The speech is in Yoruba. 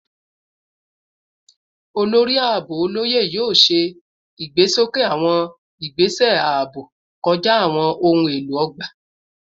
Olori Aabo Oloye yoo ṣe igbesoke awọn igbese aabo kọja awọn ohun elo ogba